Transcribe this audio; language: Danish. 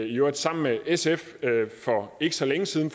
i øvrigt sammen med sf for ikke så længe siden